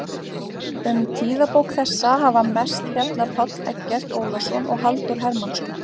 Um tíðabók þessa hafa mest fjallað Páll Eggert Ólason og Halldór Hermannsson.